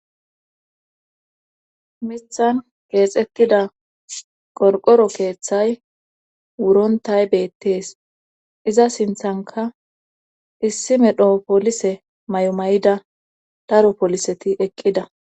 Mthan geexettida qorqoro keeththay wurontay beettees iza sinthanka issi medhoo poolise may7umay7ida daro poliseti eqqida..